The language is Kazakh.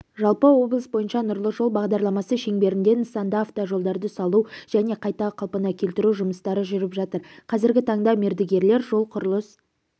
жалпы облыс бойынша нұрлы жол бағдарламасы шеңберінде нысанда автожолдарды салу және қайта қалпына келтіру жұмыстары жүріп жатыр қазіргі таңда мердігерлер жол-құрылыс